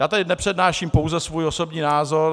Já tady nepřednáším pouze svůj osobní názor.